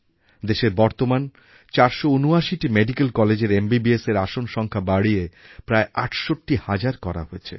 দেশের বর্তমান ৪৭৯টি মেডিকেল কলেজের MBBSএর আসন সংখ্যা বাড়িয়ে প্রায় ৬৮ হাজার করা হয়েছে